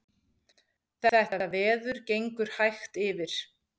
Þetta veður gengur hægt yfir